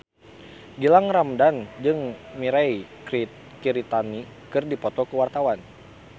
Gilang Ramadan jeung Mirei Kiritani keur dipoto ku wartawan